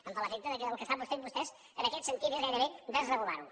em fa l’efecte que el que estan fent vostès en aquest sentit és gairebé desregular ho